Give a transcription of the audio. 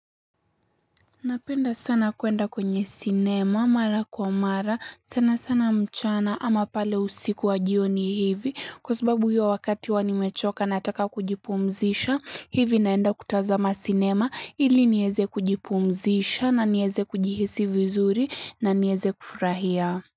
Napenda sana kuenda kwenye sinema, mara kwa mara, sana sana mchana ama pale usiku wa jioni hivi, kwa sababu hiyo wakati huwa nimechoka nataka kujipumzisha, hivi naenda kutazama sinema ili nieze kujipumzisha na nieze kujihisi vizuri na nieze kufurahia.